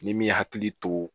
Ni min hakili to